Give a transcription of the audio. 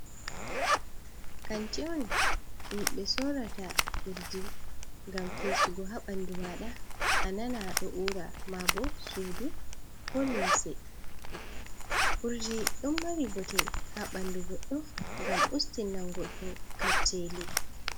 "Kanti on" ɗum ɓe sorrata urdi ngam fesugo ha ɓandu mada anana ɗo ura ma ɓo sudu ko limse urdi don mari bote ha ɓandu goddo ngam ustinnan goddo kacceli.